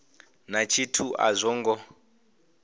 na tshithu a zwo ngo